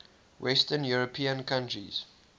western european countries